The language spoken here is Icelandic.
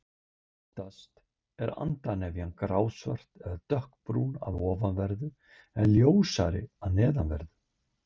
Oftast er andarnefjan grásvört eða dökkbrún að ofanverðu en ljósari að neðanverðu.